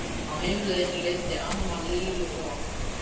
Á heimleiðinni leiddi amma Lillu og